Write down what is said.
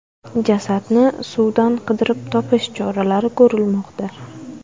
Jasadni suvdan qidirib topish choralari ko‘rilmoqda.